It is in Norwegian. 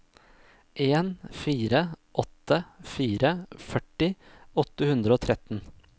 en fire åtte fire førti åtte hundre og tretten